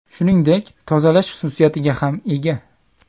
Shuningdek, tozalash xususiyatiga ham ega.